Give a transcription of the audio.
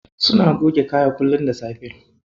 Suna goge kaya kullum da safe.